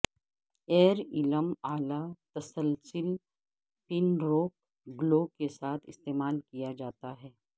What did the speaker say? year ایلم اعلی تسلسل پنروک گلو کے ساتھ استعمال کیا جاتا ہے